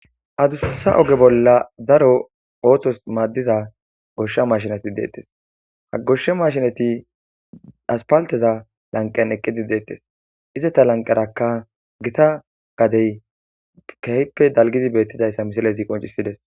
Addussa oogge bolla daaro othos maadiza goshsha mashineti dettes ha goshsha mashshineti aspalteza lanqqen eqqidi dettes izzeta lanqqerakka giitta gaddey kehippe dalgi bettidaysa missilezi qinccisides.